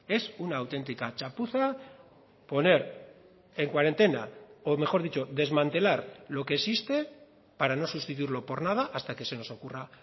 es una auténtica chapuza poner en cuarentena o mejor dicho desmantelar lo que existe para no sustituirlo por nada hasta que se nos ocurra